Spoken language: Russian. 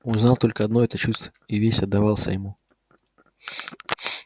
он знал только одно это чувство и весь отдавался ему